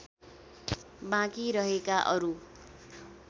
बाँकी रहेका अरू